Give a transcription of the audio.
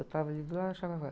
Eu estava ali do lado do.